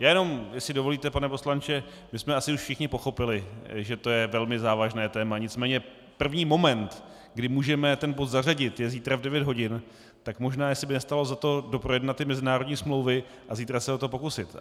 Já jenom, jestli dovolíte, pane poslanče, my jsme asi už všichni pochopili, že to je velmi závažné téma, nicméně první moment, kdy můžeme ten bod zařadit, je zítra v 9 hodin, tak možná jestli by nestálo za to doprojednat ty mezinárodní smlouvy a zítra se o to pokusit.